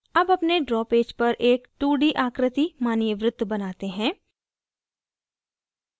अब अपने draw page पर एक 2d आकृति मानिए वृत्त बनाते हैं